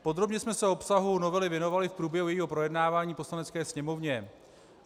Podrobně jsme se obsahu novely věnovali v průběhu jejího projednávání v Poslanecké sněmovně.